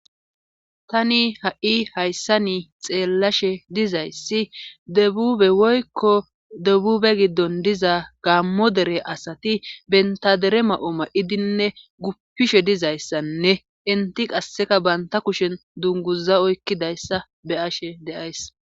tani ha7i hayssa ni xeellashe dizayssi debube woykko debube giddon diza gammo dere asati bentadere ma7oo ma7idinne guppishe dizayssanne inti qasseka baynta kushen dunguza oykkidayssa beyashe deays